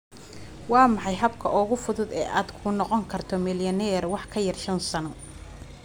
Waa maxay habka ugu fudud ee aad ku noqon karto milyaneer wax ka yar shan sano?